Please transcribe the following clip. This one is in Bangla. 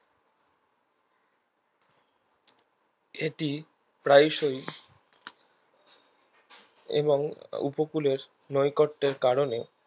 এটি প্রায়শই এবং উপকূলের নৈকট্যের কারণে